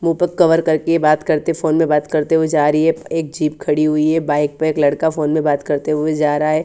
मु पर कवर करके बात करते फोन में बात करते हुए जा रही है एक जिब खड़ी हुई है बाइक पर एक लड़का फोन पर बात करते हुए जा रहा है।